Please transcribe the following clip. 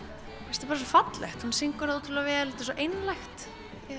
bara svo fallegt hún syngur það ótrúlega vel þetta er svo einlægt